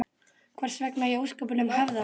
Hvers vegna í ósköpunum hefði hann?